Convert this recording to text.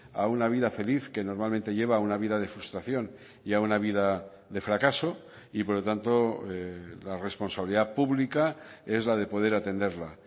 a una vida feliz que normalmente lleva a una vida de frustración y a una vida de fracaso y por lo tanto la responsabilidad pública es la de poder atenderla